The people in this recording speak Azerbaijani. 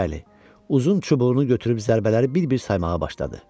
Bəli, uzun çubuğunu götürüb zərbələri bir-bir saymağa başladı.